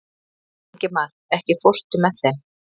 Ingimar, ekki fórstu með þeim?